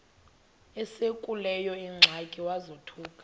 esekuleyo ingxaki wazothuka